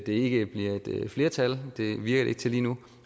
ikke bliver et flertal det virker det ikke til lige nu